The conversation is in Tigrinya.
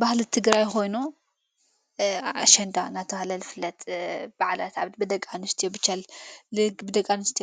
ባህል ትግራይ ይኾይኑ አሽንዳ ናተብሃለ ይፍለጥ በዕላት ኣብ ብደቃንስቲዮ ብጨል ልብደቃንስት